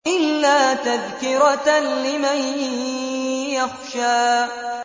إِلَّا تَذْكِرَةً لِّمَن يَخْشَىٰ